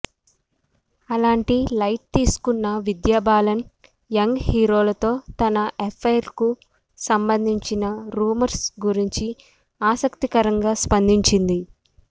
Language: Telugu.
అలాంటి లైట్ తీసుకున్న విద్యాబాలన్ యంగ్ హీరోతో తన ఎఫైర్కు సంబంధించిన రూమర్స్ గురించి ఆసక్తికరంగా స్పందించింది